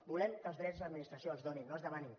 volem que els drets l’administració els doni no que es demanin